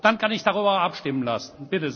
Dann kann ich darüber abstimmen lassen.